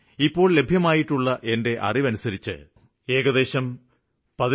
ഇതുവരെ ലഭ്യമായിട്ടുള്ള വിവരം അനുസരിച്ച് ഏകദേശം 17